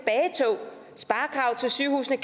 sygehuse